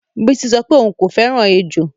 Bisi sọ pé òun kò fẹ́ràn ejò